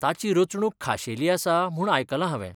ताची रचणूक खाशेली आसा म्हूण आयकलां हावें.